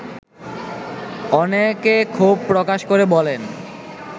অনেকে ক্ষোভ প্রকাশ করে বলেন